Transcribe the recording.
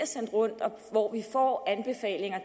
sendt rundt hvor